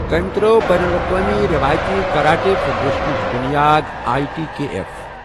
تٔمۍ ترٲو بین الاقوٲمی رِوایتی کراٹے فیڈریشنٕچ بنیاد اٮٔی ٹی کے ایف